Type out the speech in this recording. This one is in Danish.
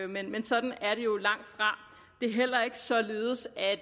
men sådan er det jo langtfra det er heller ikke således at